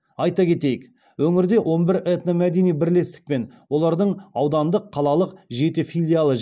айта кетейік өңірде он бір этномәдени бірлестік пен олардың аудандық қалалық жеті филиалы